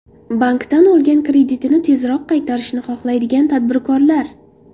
Bankdan olgan kreditini tezroq qaytarishni xohlaydigan tadbirkorlar!